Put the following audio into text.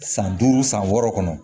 San duuru san wɔɔrɔ kɔnɔ